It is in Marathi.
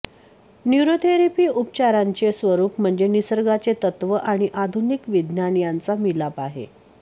न्यूरोथेरपी उपचारांचे स्वरूप म्हणजे निसर्गाचे तत्त्व आणि आधुनिक विज्ञान यांचा मिलाफ आहे